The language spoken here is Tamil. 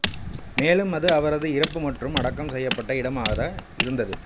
மேலும் அது அவரது இறப்பு மற்றும் அடக்கம் செய்யப்பட்ட இடமாக இருந்தது